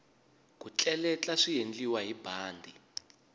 ku tleletla swiendliwa hi bandi